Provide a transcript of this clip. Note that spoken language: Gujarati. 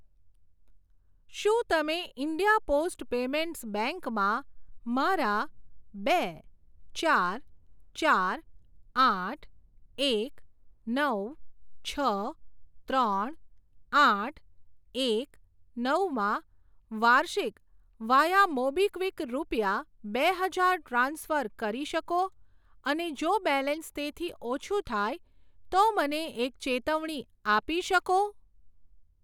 શું તમે ઇન્ડિયા પોસ્ટ પેમેન્ટ્સ બેંક માં મારા બે ચાર ચાર આઠ એક નવ છ ત્રણ આઠ એક નવ માં વાર્ષિક વાયા મોબીક્વિક રૂપિયા બે હજાર ટ્રાન્સફર કરી શકો અને જો બેલેન્સ તેથી ઓછું થાય તો મને એક ચેતવણી આપી શકો?